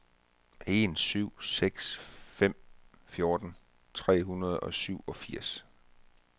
en syv seks fem fjorten tre hundrede og syvogfirs